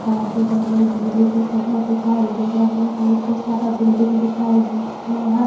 दे रहले बिजली के खंभा देखाय दे रहले ह बहुत्ते सारा बिल्डिंग दिखाय दे रहले हा।